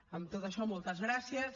amb tot això moltes gràcies